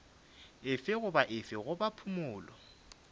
efe goba efe goba phumolo